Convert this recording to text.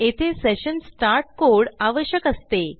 येथे session start code आवश्यक असते